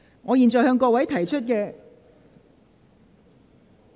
我現在向各位提出的......